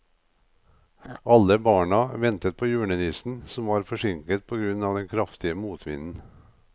Alle barna ventet på julenissen, som var forsinket på grunn av den kraftige motvinden.